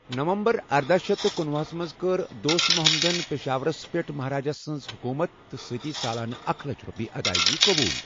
نومبر ارداہ شیتھ تہٕ کُنۄہ ہَس منز كٕر دوست محمدن پیشاورس پیٹھ مہاراج سٕنز حكوُمت تہٕ سۭتی سالانہٕ اكھ لچھ روپیہ ادایگی قبوُل ۔